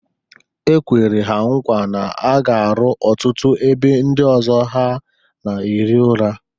E kwere ha nkwa na a ga-aru ọtụtụ ebe ndị ọzọ a na-ehi ụra.